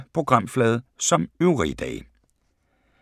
Samme programflade som øvrige dage